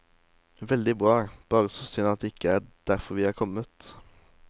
Veldig bra, bare så synd at det ikke er derfor vi er kommet.